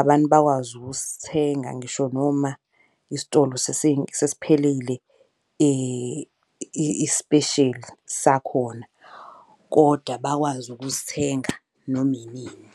Abantu bakwazi usithenga ngisho noma isitolo sesiphelile isipesheli sakhona. Koda bakwazi ukusithenga noma inini.